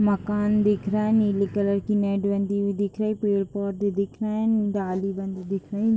मकान दिख रहा हैनीली कलर कि नेट बंधीहुई दिख रही हैपेड़-पौधे दिख रहे है डाली बंधी दिख रही है।